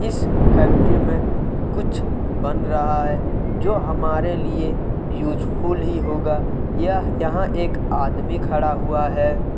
इस फैक्ट्री में कुछ बन रहा है जो हमारे लिए यूजफुल ही होगा यहाँ एक आदमी खड़ा हुआ है।